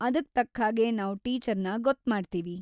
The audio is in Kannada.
ಅದಕ್‌ ತಕ್ಹಾಗೆ ನಾವ್‌ ಟೀಚರ್‌ನ ಗೊತ್ಮಾಡ್ತೀವಿ.